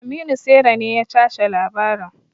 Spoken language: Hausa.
Aminu saira ne ya tace labarin.